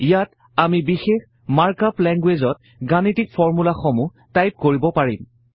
ইয়াত আমি বিশেষ মাৰ্ক আপ লেঙ্গুৱেইজত গাণিতিক ফৰ্মূলাসমূহ টাইপ কৰিব পাৰিম